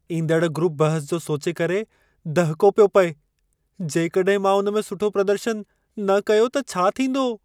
ईंदड़ ग्रूप बहिस जो सोचे करे दहिको पियो पए। जेकड॒हिं मां उन में सुठो प्रदर्शनु न कयो त छा थींदो?